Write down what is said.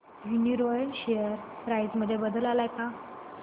Uniroyal share price मध्ये बदल आलाय का